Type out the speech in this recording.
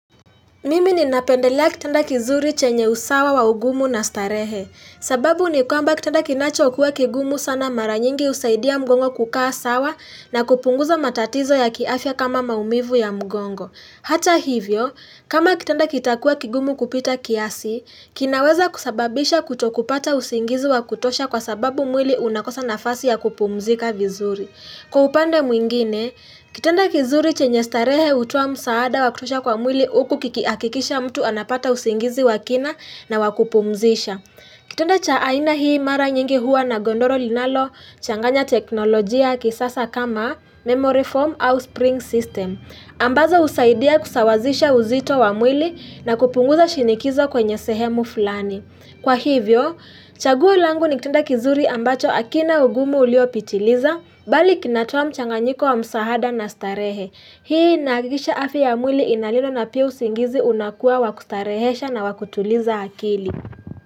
Mimi ni napendelea kitanda kizuri chenye usawa wa ugumu na starehe. Sababu ni kwamba kitanda kinacho kuwa kigumu sana mara nyingi husaidia mgongo kukaa sawa na kupunguza matatizo ya kiafya kama maumivu ya mgongo. Hata hivyo, kama kitanda kitakuwa kigumu kupita kiasi, kinaweza kusababisha kutokupata usingizi wa kutosha kwa sababu mwili unakosa nafasi ya kupumzika vizuri. Kwa upande mwingine, kitenda kizuri chenye starehe hutoa msaada wa kutosha kwa mwili huku kikihakikisha mtu anapata usingizi wakina na wakupumzisha. Kitenda cha aina hii mara nyingi huwa na godoro linalo changanya teknolojia ya kisasa kama memory form au spring system. Ambazo husaidia kusawazisha uzito wa mwili na kupunguza shinikizo kwenye sehemu fulani. Kwa hivyo, chaguo langu ni kitanda kizuri ambacho hakina ugumu uliopitiliza, bali kinatoa mchanganyiko wa msaada na starehe. Hii inahakikisha afya ya mwili inalindwa na pia singizi unakua wakustarehesha na wa kutuliza akili.